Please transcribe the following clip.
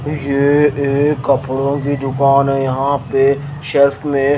ये एक कपड़ों की दुकान है यहां पे शेल्फ में--